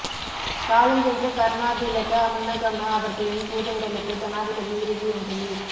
காலஞ்சென்ற கருணாதிலக அமுனுகம அவர்களின் பூதவுடலுக்கு ஜனாதிபதி இறுதி அஞ்சலி